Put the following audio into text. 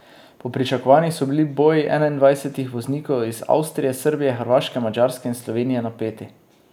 Po pričakovanjih so bili boji enaindvajsetih voznikov iz Avstrije, Srbije, Hrvaške, Madžarske in Slovenije napeti.